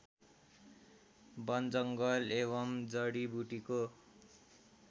बनजङ्गल एवम् जडीबुटीको